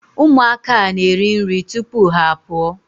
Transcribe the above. Ụmụaka a na-eriri nri tupu ha a pụọ.